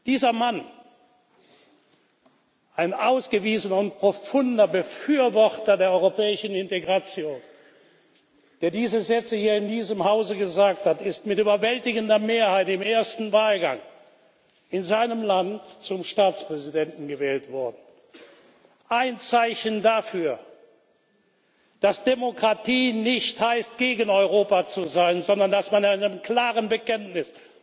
Dieser Mann, ein ausgewiesener und profunder Befürworter der europäischen Integration, der diese Sätze hier in diesem Hause gesagt hat, ist mit überwältigender Mehrheit im ersten Wahlgang in seinem Land zum Staatspräsidenten gewählt worden ein Zeichen dafür, dass Demokratie nicht heißt, gegen Europa zu sein, sondern dass man mit einem klaren Bekenntnis